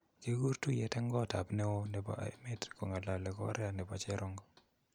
Kagikuur tuiyeet eng koot ap neo nepo emeet kong'alale Korea nepo cherongo